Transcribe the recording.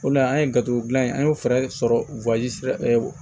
O le la an ye garibu dilan ye an y'o fɛɛrɛ sɔrɔ sira